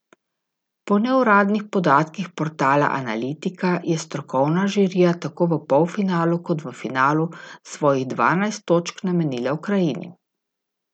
Po neuradnih podatkih portala Analitika je strokovna žirija tako v polfinalu kot v finalu svojih dvanajst točk namenila Ukrajini.